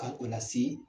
Ka o lase